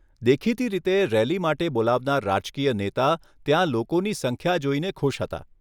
દેખીતી રીતે, રેલી માટે બોલાવનાર રાજકીય નેતા ત્યાં લોકોની સંખ્યા જોઈને ખુશ હતા.